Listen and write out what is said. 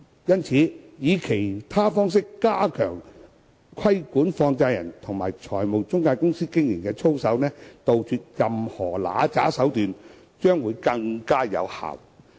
因此，以其他方式加強規管放債人及財務中介公司的經營操守，杜絕任何不良手段，將會更有效益。